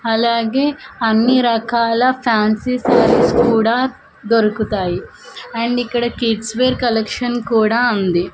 అలాగే అన్నీ రకాల ఫ్యాన్సీ సారీస్ కుడా దొరుకుతాయి అండ్ ఇక్కడ కిడ్స్ వేర్ కలెక్షన్ కుడా ఉంది.